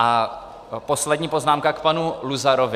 A poslední poznámka k panu Luzarovi.